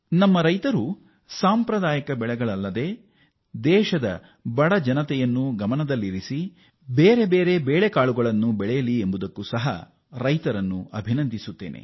ನಮ್ಮ ರೈತರು ಸಾಂಪ್ರದಾಯಿಕ ಬೆಳೆಗಳಲ್ಲದೆ ದೇಶದ ಬಡ ಜನತೆಯನ್ನು ಗಮನದಲ್ಲಿಟ್ಟುಕೊಂಡು ಬೇರೆ ಬೇರೆ ಬೇಳೆಕಾಳುಗಳನ್ನು ಬೆಳೆದಿರುವುದಕ್ಕೆ ನಮ್ಮ ರೈತರನ್ನು ಅಭಿನಂದಿಸುತ್ತೇನೆ